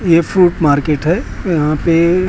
ये fruit market है। यहां पे--